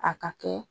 A ka kɛ